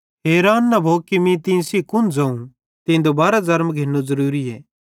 हैरान न भो कि मीं तीं सेइं कुन ज़ोवं कि तीं दुबारो ज़र्म घिन्नू ज़रूरीए